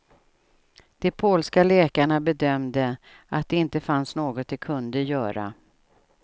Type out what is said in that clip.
De polska läkarna bedömde att det inte fanns något de kunde göra.